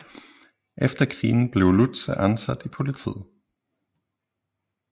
Efter krigen blev Lutze ansat i politiet